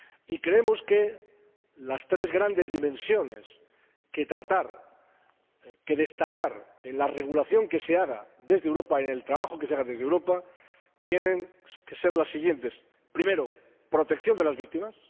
Y creemos que las tres grandes dimensiones que tratar, que destacar en la regulación que se haga desde Europa, en el trabajo que se haga desde Europa, tienen que ser las siguientes primero, protección de las víctimas.